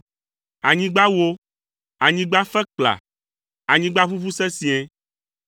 Anyigba wó, anyigba fe kpla, anyigba ʋuʋu sesĩe.